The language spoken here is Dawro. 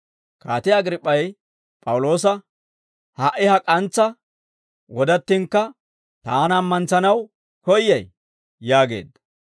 Kaatiyaa Agriip'p'ay P'awuloosa, «Ha"i ha k'antsa wodattinkka taana ammantsanaw koyyay?» yaageedda.